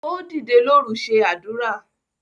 Ó dìdè lóru ṣe àdúrà.